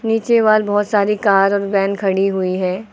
नीचे बोहोत सारी कार और वैन खड़ी हुई हैं।